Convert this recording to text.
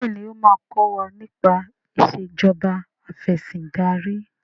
béèni o ma kò wá nipa Ìṣèjọba Afẹ̀sìndarí.